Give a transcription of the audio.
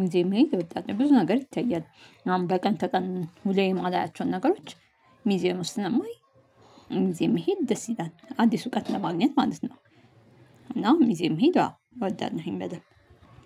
ሚዜ መሄድ እወዳለሁ ብዙ ነገር ይታያል። አሁን በቀን ተቀን ውሎየ እማላያቸውን ነገሮች ሚዜ ውጥጥ ስለማይ። ሚዜ መሄድ ደስ ይላል አዲስ እውቀት ለማግኘት ማለት ነው። እናም ሚዜ መሄድ አዎ እወዳለሁኝ በደንብ።